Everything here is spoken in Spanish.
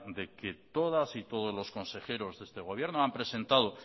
de que todas y todos los consejeros de este gobierno han presentado